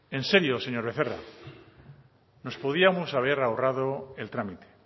en serio señor becerra nos podíamos haber ahorrado el trámite